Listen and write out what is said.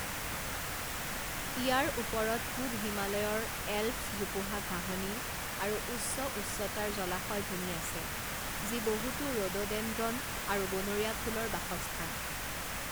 ইয়াৰ ওপৰত পূব হিমালয়ৰ এলপছ জোপোহা ঘাঁহনি আৰু উচ্চ উচ্চতাৰ জলাশয় ভূমি আছে যি বহুতো ৰড'ডেনড্ৰন আৰু বনৰীয়া ফুলৰ বাসস্থান।